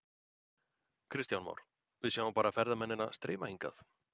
Kristján Már: Við sjáum bara ferðamennina streyma hingað?